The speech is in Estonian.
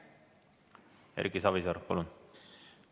Erki Savisaar, palun!